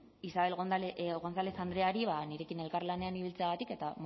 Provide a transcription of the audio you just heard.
isabel gonzález andreari nirekin elkarlanean ibiltzeagatik eta